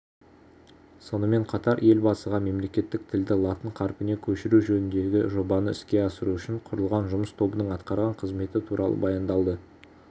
сонымен қатар елбасыға мемлекеттік тілді латын қарпіне көшіру жөніндегі жобаны іске асыру үшін құрылған жұмыс тобының атқарған қызметі туралы баяндалды